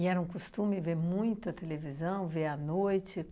era um costume ver muito a televisão, ver à noite?